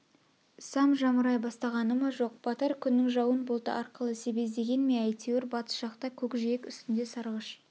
сам жамырай бастағаны ма жоқ батар күннің жауын бұлты арқылы себездеген ме әйтеуір батыс жақта көк-жиек үстінде сарғыш